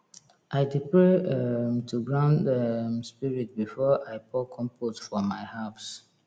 i dey pray um to ground um spirit before i pour compost for my herbs